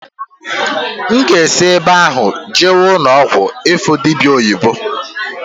N ga-esị ebe ahụ jewe ụnọ ọgwụ ịfụ dịbịa oyibo.